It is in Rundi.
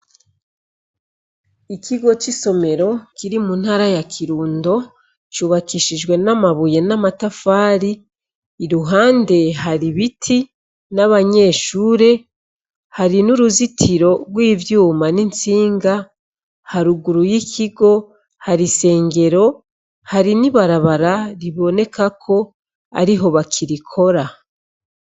Ikigo cisomero Kiri muntara ya Kurundo cubakishijwe namabuye namatafari iruhande hari ibiti nabanyeshure hari nuruzitiro twivyuma nitsinga haruguru yikigo hari isengero ,hari nibarabara riboneka ko ariho bakirikora .